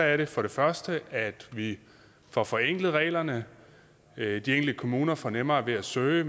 er det for det første at vi får forenklet reglerne de enkelte kommuner får nemmere ved at søge